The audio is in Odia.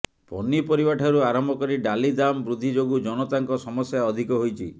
ପନିପରିବା ଠାରୁ ଆରମ୍ଭ କରି ଡାଲି ଦାମ୍ ବୃଦ୍ଧି ଯୋଗୁଁ ଜନତାଙ୍କ ସମସ୍ୟା ଅଧିକ ହୋଇଛି